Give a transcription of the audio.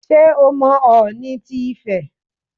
Ṣé o mọ Ọọ̀ni ti Ifẹ̀?